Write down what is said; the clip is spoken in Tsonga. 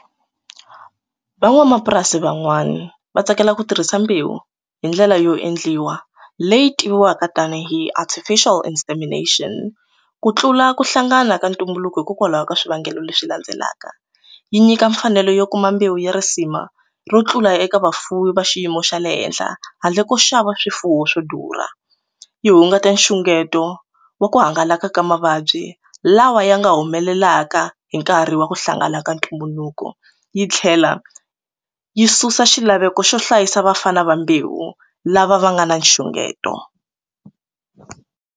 Van'wamapurasi van'wani va tsakela ku tirhisa mbewu hi ndlela yo endliwa leyi tiviwaka tanihi artificial insemination ku tlula ku hlangana ka ntumbuluko hikokwalaho ka swivangelo leswi landzelaka yi nyika mfanelo yo kuma mbewu ya risima ro tlula eka vafumi va xiyimo xa le henhla handle ko xava swifuwo swo durha yi hungata nxungeto wa ku hangalaka ka mavabyi lawa ya nga humelelaka hi nkarhi wa ku hlangana ka ntumbuluko yi tlhela yi susa xilaveko xo hlayisa vafana va mbewu lava va nga na nxungeto.